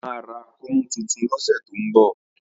Tọ́lá máa ra kọ́mú tuntun lọ́sẹ̀ tó ń bọ̀